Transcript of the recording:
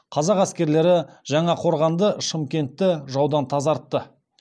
қазақ әскерлері жаңақорғанды шымкентті жаудан тазартты